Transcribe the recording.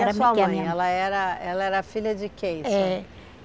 E a sua mãe, ela era ela era filha de quem? Eh